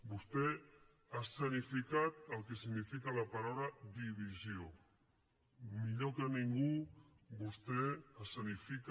vostè ha escenificat el que significa la paraula divisió millor que ningú vostè escenifica